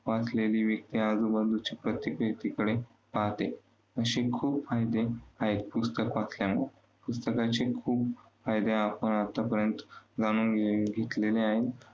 वाचलेली व्यक्ती आजूबाजूच्या परिस्थितीकडे पाहाते. अशी खूप फायदे आहेत पुस्तक वाचल्याने. पुस्तकाचे खूप आपण आतापर्यंत जाणून घेतलेले आहेत.